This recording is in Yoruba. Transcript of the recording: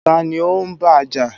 Taàní ó ń bájà?